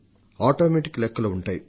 automatic లెక్కలు ఉంటాయి